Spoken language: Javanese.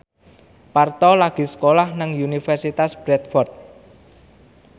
Parto lagi sekolah nang Universitas Bradford